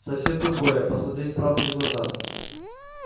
совсем другое посмотреть правде в глаза